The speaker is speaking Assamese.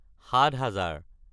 সাত হেজাৰ